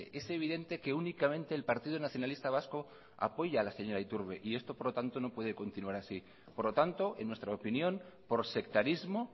es evidente que únicamente el partido nacionalista vaso apoya a la señora iturbe y esto no puede continuar así por lo tanto en nuestra opinión por sectarismo